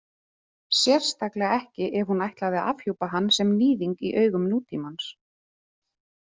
Sérstaklega ekki ef hún ætlaði að afhjúpa hann sem níðing í augum nútímans.